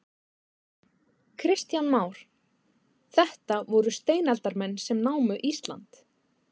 Kristján Már: Þetta voru steinaldarmenn sem námu Ísland?